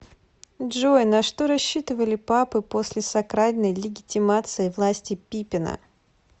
джой на что рассчитывали папы после сакральной легитимации власти пипина